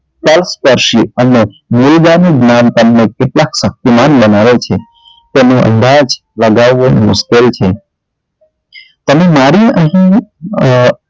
સ્પર્શીય અને જ્ઞાન તમને કેટલા શક્તિમાન બનાવે છે તેનો અંદાજ લગાવવો મુશ્કેલ છે તમે અહી અરે